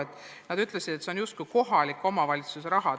Küsijad ütlesid, et see on justkui kohalike omavalitsuste raha.